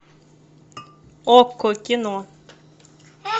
окко кино